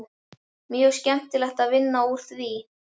Mjög skemmtilegt að vinna úr því.